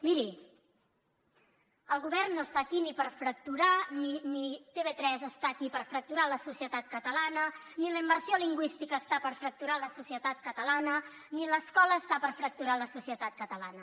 miri el govern no està aquí ni per fracturar ni tv3 està aquí per fracturar la societat catalana ni la immersió lingüística està per fracturar la societat catalana ni l’escola està per fracturar la societat catalana